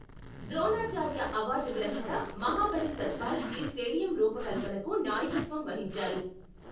Dronacharya award గ్రహీత మహాబలి సత్పాల్ ఈ stadium రూపకల్పనకు నాయకత్వం వహించారు.